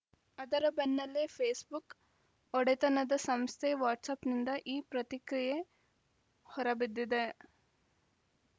ಅದರ ಬೆನ್ನಲ್ಲೇ ಫೇಸ್‌ಬುಕ್‌ ಒಡೆತನದ ಸಂಸ್ಥೆ ವಾಟ್ಸಪ್‌ನಿಂದ ಈ ಪ್ರತಿಕ್ರಿಯೆ ಹೊರಬಿದ್ದಿದೆ